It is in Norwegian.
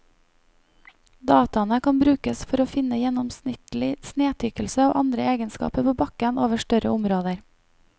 Dataene kan brukes for å finne gjennomsnittlig snetykkelse og andre egenskaper på bakken over større områder.